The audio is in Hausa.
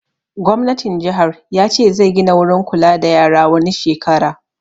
Gwamnatin jihar ya ce zai gina wurin kula da yara wani shekara